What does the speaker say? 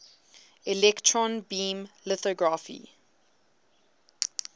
electron beam lithography